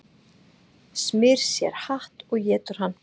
Smyr sér hatt og étur hann